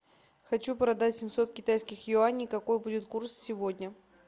хочу продать семьсот китайских юаней какой будет курс сегодня